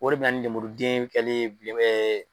O de bɛ na ni lemuruden kɛli bilen